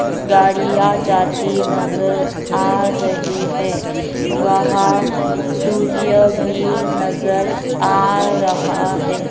गाड़ियां जाती नजर आ रही हैं वहाँ सूर्य भी नजर आ रहा है।